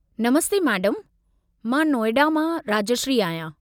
नमस्ते madam, मां नोएडा मां राजश्री आहियां।